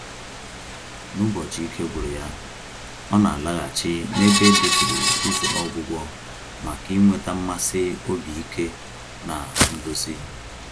N'ụbọchị ike gwụrụ ya, ọ na-alaghachi n'ebe edeturu usoro ọgwụgwọ maka ịnweta mmasị obi ike na nduzi.